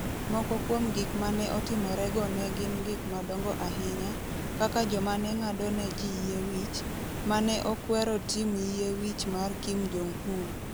Moko kuom gik ma ne otimorego ne gin gik madongo ahinya, kaka joma ne ng'ado ne ji yie wich, ma ne okwero tim yie wich mar Kim Jong Un.